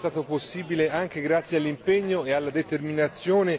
Ciò è stato possibile anche grazie all'impegno e alla determinazione